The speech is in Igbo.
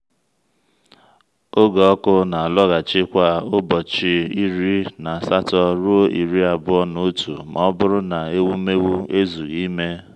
oge ọkụ na-alọghachi kwa ụbọchị iri na asatọ ruo iri abụọ na otu ma ọ bụrụ na ewumewụ ezughị ime.